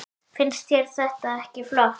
Finnst þér það ekki flott?